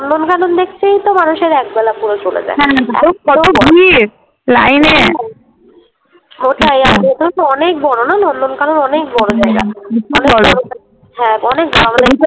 মানুষের পুরো একবেলা চলে যায় হ্যাঁ ভিড় লাইনে ওটাই আর ভেতরেতো অনেক বড়োনা নন্দনকানন অনেক বড়ো জায়গা হ্যাঁ অনেক বড়ো।